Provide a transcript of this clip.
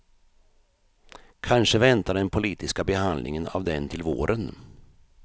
Kanske väntar den politiska behandlingen av den till våren.